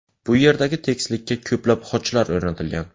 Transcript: Bu yerdagi tekislikka ko‘plab xochlar o‘rnatilgan.